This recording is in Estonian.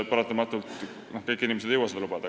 Paratamatult kõik inimesed ei jõua seda endale lubada.